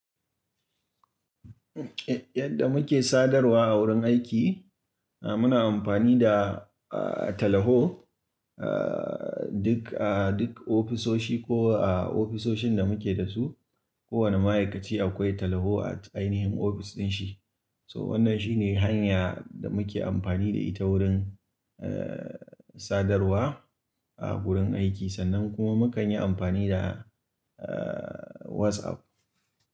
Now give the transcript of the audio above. Yadda muke sadarwa a wurin aiki, muna amfani da, ah, talaho, ah, duk a duk ofisoshi ko a ofisoshin da muke da su. Kowane ma'aikaci akwai talaho a ainihin ofis din shi. So wannan shine hanya da muke amfani da ita wurin, eh, sadarwa a gurin aiki sannan kuma mukan yi amfani da, ah, WhatsApp.